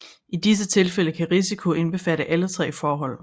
I disse tilfælde kan risiko indbefatte alle tre forhold